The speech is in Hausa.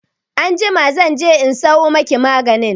Anjima zan je in sayo maki maganin.